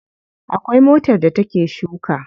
Akwai motar da ta ke shuka.